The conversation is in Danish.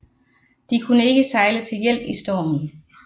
De kunne ikke sejle til hjælp i stormen